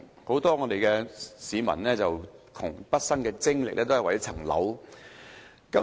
很多市民窮畢生精力，都是為了一層樓。